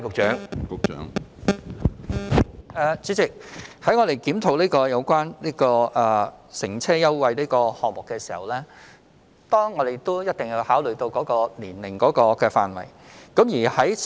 主席，在檢討有關乘車優惠計劃的時候，我們一定要考慮年齡範圍。